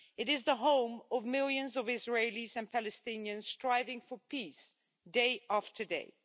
It is the home of millions of Israelis and Palestinians striving for peace, day after day.